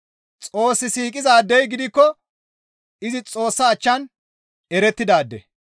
Xoos siiqizaadey gidikko izi Xoossa achchan erettidaade.